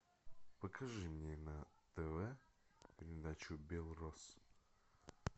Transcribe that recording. покажи мне на тв передачу белрос